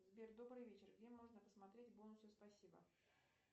сбер добрый вечер где можно посмотреть бонусы спасибо